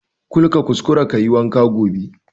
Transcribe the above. Kul ka kuskara kayi wanka gobe